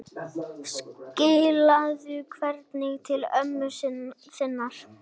Skilaðu kveðju til ömmu þinnar.